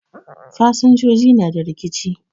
Fasinjoji na da rikici